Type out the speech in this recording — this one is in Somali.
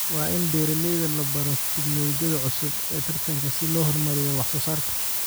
Waa in beeralayda la baro tignoolajiyada cusub ee taranka si loo horumariyo wax soo saarka.